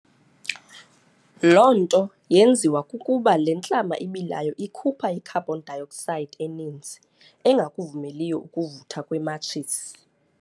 Loo nto yenziwa kukuba le ntlama ibilayo ikhupha i-carbon dioxide eninzi, engakuvumeliyo ukuvutha kwematshisi.